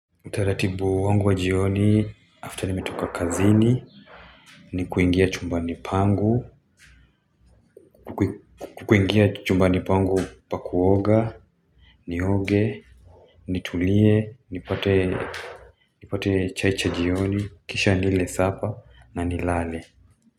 Utaratibu wangu wa jioni after nimetoka kazini Nikuingia chumbani pangu nikuingia chumbani pangu pa kuoga Nioge nitulie nipate chai cha jioni Kisha nile supper na nilale.